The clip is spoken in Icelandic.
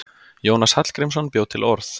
Jónas Hallgrímsson bjó til orð.